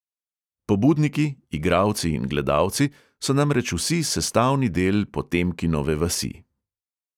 Pobudniki, igralci in gledalci so namreč vsi sestavni del potemkinove vasi.